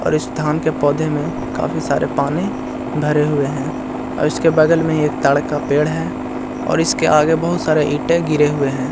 और इस धान के पौधे में काफी सारे पानी भरे हुए है और इसके बगल में ही एक ताड़ का पेड़ है और इसके आगे बहुत सारे ईंटे गिरे हुए हैं ।